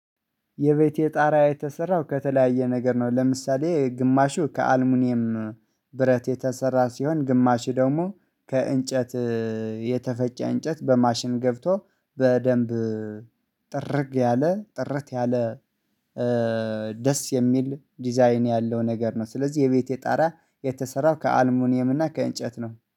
የቤቴ ጣራ የተሰራው ከተለያየ ነገር ነው ለምሳሌ ግማሹ ከአልሙኒየም ብረት የተሰራ ሲሆን ግማሽ ደግሞ ከእንጨት የተፈጨ እንጨት በማሽን ገብቶ በደንብ ጥርግ ያለ ጥርት ያለ ደስ የሚል ዲዛይን ያለው ነገር ነው። ስለዚህ የቤቴ ጣራ የተሰራው ከአልሙኒየም እና ከእንጨት ነው